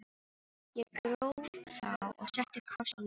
Ég gróf þá og setti kross á leiðið.